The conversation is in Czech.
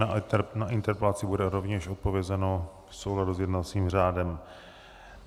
Na interpelaci bude rovněž odpovězeno v souladu s jednacím řádem.